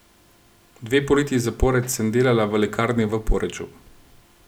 Dve poletji zapored sem delala v lekarni v Poreču.